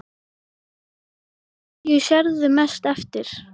Kristján: Hverju sérðu mest eftir?